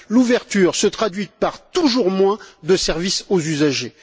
L'ouverture se traduit par toujours moins de services aux usagers.